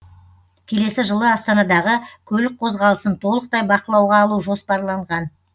келесі жылы астанадағы көлік қозғалысын толықтай бақылауға алу жоспарланған